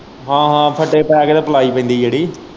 ਹਾਂ-ਹਾਂ ਫੱਟੇ ਪੈ ਕੇ ਤੇ ਪਲਾਈ ਪੈਂਦੀ ਜਿਹੜੀ।